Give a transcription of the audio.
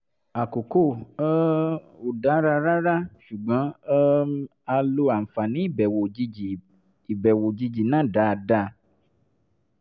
àkókò um ò dára rárá ṣùgbọ́n um a lo àǹfààní ìbẹ̀wò òjijì ìbẹ̀wò òjijì náà dáadáa